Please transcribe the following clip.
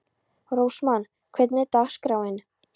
Rósmann, hvernig er dagskráin?